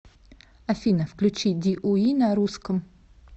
афина включи ди уи на русском